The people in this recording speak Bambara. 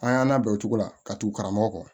An y'an labɛn o cogo la ka tugu karamɔgɔ kɔ